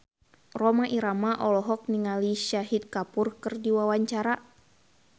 Rhoma Irama olohok ningali Shahid Kapoor keur diwawancara